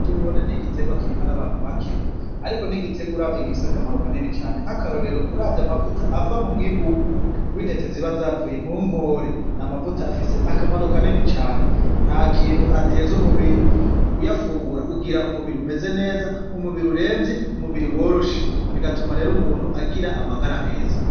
Nkore ni igitegwa kirimwa n'abantu bake, ariko ntigiterwa uravyo gifise akamaro kanini cane nk'akarorero uravye amavuta ava mu mwimbu w'intete ziba azavuye mu nkore ni amavuta afise akamaro ka nini cane nta kintu ateza umubiri uyafungura ugira umubiri umeze neza umubiri uremvye umubiri worosha bigatuma rero umuntu agie ira amagara meza.